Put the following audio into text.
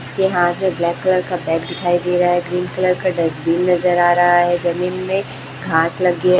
इसके हाथ में ब्लैक कलर का बैग दिखाई दे रहा है ग्रीन कलर का डस्टबिन नजर आ रहा है जमीन में घांस लगी है।